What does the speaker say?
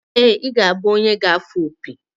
ee, ị ga-abụ onye ga-afụ opi